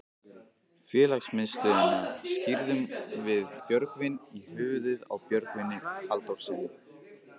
Félagsmiðstöðina skírðum við Björgvin í höfuðið á Björgvini Halldórssyni.